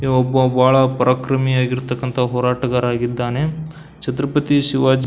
ಇವೊಬ್ಬ ಬಹಳ ಪರಾಕ್ರಮಿ ಆಗಿರ್ತಕ್ಕಂತಹ ಹೋರಾಟಗಾರ ಆಗಿದ್ದಾರನೆ ಛತ್ರಪತಿ ಶಿವಾಜಿ --